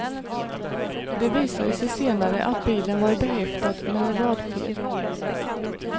Det visade sig senare att bilen var behäftad med en rad fel.